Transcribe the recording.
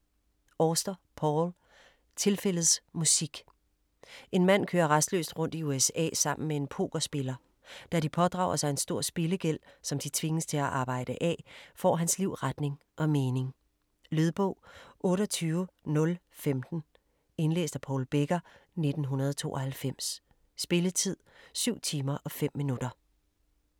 Auster, Paul: Tilfældets musik En mand kører rastløst rundt i USA sammen med en pokerspiller. Da de pådrager sig en stor spillegæld, som de tvinges til at arbejde af, får hans liv retning og mening. Lydbog 28015 Indlæst af Paul Becker, 1992. Spilletid: 7 timer, 5 minutter.